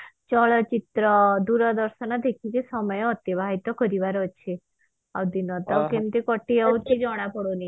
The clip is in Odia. ଚଳଚିତ୍ର ଦୂରଦର୍ଶନ ଦେଖିକି ସମୟ ଅତିବାହିତ କରିବାର ଅଛି ଆଉ ଦିନ ତ କେମିତେ କତିଯାଉଛି ଜଣା ପଡୁନି